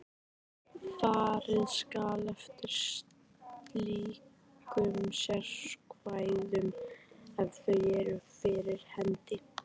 Farið skal eftir slíkum sérákvæðum ef þau eru fyrir hendi.